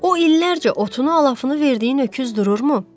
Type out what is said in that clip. O illərcə otunu, alafını verdiyi öküz dururmu?